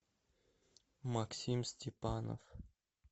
максим степанов